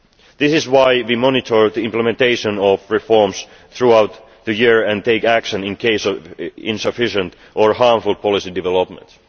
This is why we monitor the implementation of reforms throughout the year and take action in case of insufficient or harmful policy development.